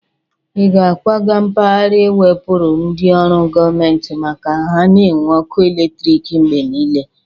Ị ga-akwaga mpagara ewepuru ndị ọrụ gọmenti maka ha na-enwe ọkụ eletriki mgbe niile?